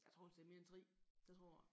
Jeg tror vist det er mere end 3 det tror jeg